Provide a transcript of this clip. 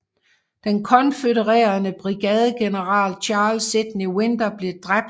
Den konfødererede brigadegeneral Charles Sidney Winder blev dræbt